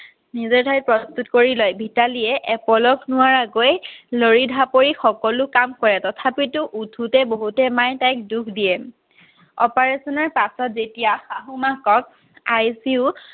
নিজে তাই প্ৰস্তুত কৰি লয় ভিতালীয়ে এপলক নোৱাৰাকৈ লৱৰি ডাপৰি সকলো কাম কৰে তথাপিতো উঠোতে বহোতে মায়ে তাইক দুখ দিয়ে operation ৰ পাছত যেতিয়া শাহু মাকক আই চি ইউত